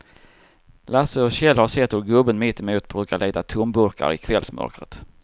Lasse och Kjell har sett hur gubben mittemot brukar leta tomburkar i kvällsmörkret.